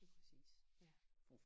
Lige præcis ja